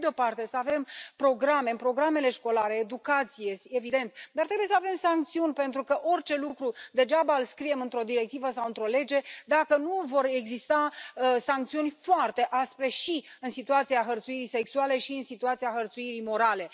Pe de o parte, să avem programe, programe școlare, educație, este evident, dar trebuie să avem sancțiuni, pentru că orice lucru degeaba îl înscriem într o directivă sau într o lege dacă nu vor exista sancțiuni foarte aspre și în situația hărțuirii sexuale, și în situația hărțuirii morale.